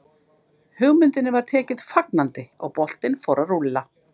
Hugmyndinni var tekið fagnandi og boltinn fór að rúlla.